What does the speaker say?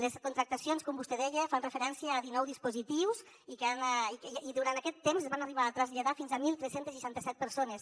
les contractacions com vostè deia fan referència a dinou dispositius i durant aquest temps es van arribar a traslladar fins a tretze seixanta set persones